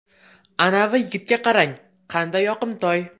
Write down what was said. Anavi yigitga qarang, qanday yoqimtoy.